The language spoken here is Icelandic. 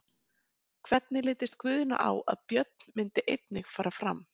Hvernig litist Guðna á að Björn myndi einnig fara fram?